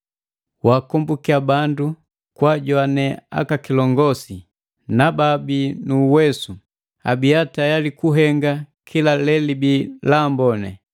Waakombukiya bandu kwaajowane aka kilongosi na babii nu uwesu, abia tayali kuhenga kila lelibi laamboni.